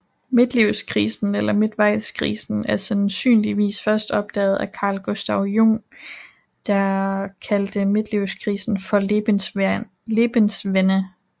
Midtlivskrisen eller Midtvejskrisen er sandsynligvis først opdaget af Carl Gustav Jung der kaldte Midtlivskrisen for Lebenswende